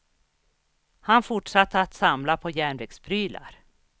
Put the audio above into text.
Han fortsatte att samla på järnvägsprylar.